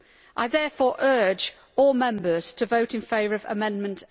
I therefore urge all Members to vote in favour of Amendment